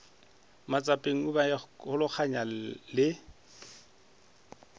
matsapeng a go ikamologanya le